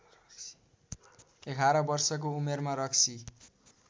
११ वर्षको उमेरमा रक्सी